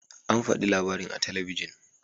An faɗi labarin a talabijin.